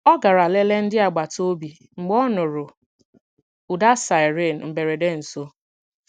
Ọ garà leleè ndị agbata obi mgbe ọ nụrụ̀ ụda siren mberede nso.